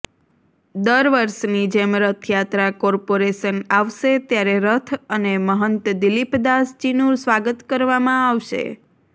દર વર્ષની જેમ રથયાત્રા કોર્પોરેશન આવશે ત્યારે રથ અને મહંત દિલીપદાસજીનું સ્વાગત કરવામાં આવશે